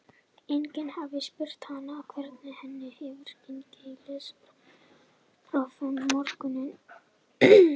Enginn hafði spurt hana hvernig henni hefði gengið í lestrarprófinu um morguninn.